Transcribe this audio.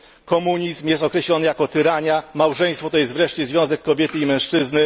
Komunizm jest określony jako tyrania, małżeństwo to jest wreszcie związek kobiety i mężczyzny.